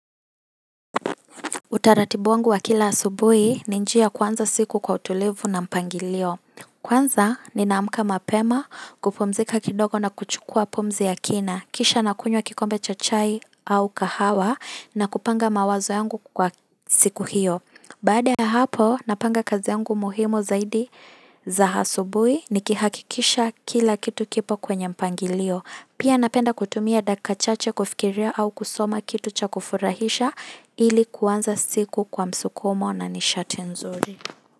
Utaratibu wangu wa kila asubuhi ni njia ya kuanza siku kwa utulivu na mpangilio. Kwanza ninamka mapema kupumzika kidogo na kuchukua pumzi ya kina. Kisha nakunywa kikombe cha chai au kahawa na kupanga mawazo yangu kwa siku hiyo. Baada ya hapo napanga kazi yangu muhimu zaidi za hasubui ni kihakikisha kila kitu kipo kwenye mpangilio. Pia napenda kutumia daka chache kufikiria au kusoma kitu cha kufurahisha ili kuanza siku kwa msukumo na nishati nzuri.